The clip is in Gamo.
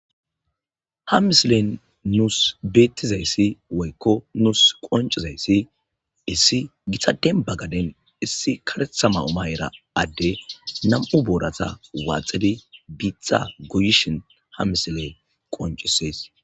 Ha misilen nuus beettizayssi woykko nuus qoncizayssi issi githaden bagaden issi karetha ma oma era adde namu boorata waaxidi biitxa goyishin ha misile qoncisees.